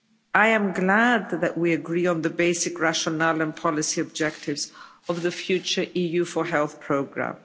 I am glad that we agree on the basic rationale and policy objectives of the future EU4Health programme.